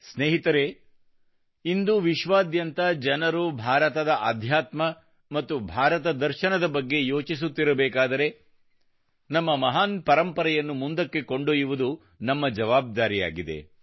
ಸ್ನೇಹಿತರೆ ಇಂದು ವಿಶ್ವಾದ್ಯಂತ ಜನರು ಭಾರತದ ಆಧ್ಯಾತ್ಮ ಮತ್ತು ಭಾರತ ದರ್ಶನದ ಬಗ್ಗೆ ಯೋಚಿಸುತ್ತಿರಬೇಕಾದರೆ ನಮ್ಮ ಮಹಾನ್ ಪರಂಪರೆಯನ್ನು ಮುಂದಕ್ಕೆ ಕೊಂಡೊಯ್ಯುವುದು ನಮ್ಮ ಜವಾಬ್ದಾರಿಯಾಗಿದೆ